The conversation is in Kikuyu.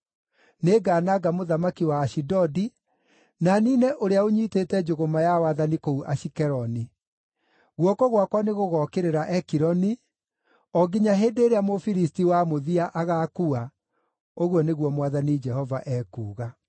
Nĩngananga mũthamaki wa Ashidodi, na niine ũrĩa ũnyiitĩte njũgũma ya wathani kũu Ashikeloni. Guoko gwakwa nĩgũgokĩrĩra Ekironi, o nginya hĩndĩ ĩrĩa Mũfilisti wa mũthia agaakua,” ũguo nĩguo Mwathani Jehova ekuuga.